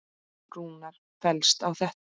Rúnar fellst á þetta.